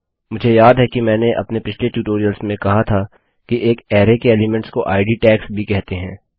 मुझे याद है कि मैंने अपने पिछले ट्यूटोरियल्स में कहा था कि एक अरैके एलीमेंट्स को इद टैग्स भी कहते हैं